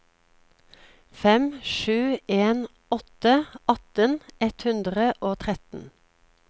fem sju en åtte atten ett hundre og tretten